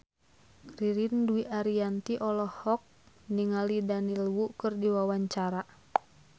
Ririn Dwi Ariyanti olohok ningali Daniel Wu keur diwawancara